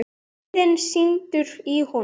Reiðin sýður í honum.